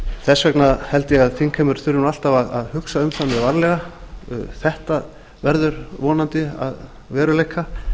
þess vegna held ég að þingheimur þurfi alltaf að hugsa um það mjög varlega að þetta verður vonandi að veruleika